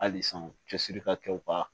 Hali san cɛsiri ka kɛ u ka